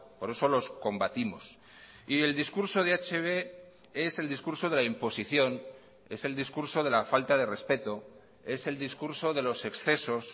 por eso los combatimos y el discurso de hb es el discurso de la imposición es el discurso de la falta de respeto es el discurso de los excesos